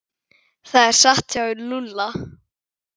Það er satt hjá Lúlla.